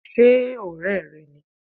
ṣe ọrẹ re ní?